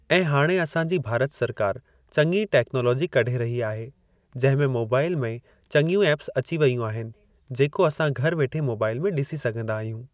ऐं हाणे असां जी भारत सरकार चङी टेक्नोलॉजी कढी रहि आहे जंहिं मे मोबाइल में चङियूं एप्स अची वेयूं आहिनि जेको असां घर वेठे मोबाइल में ॾिसी सघिंदा आहियूं।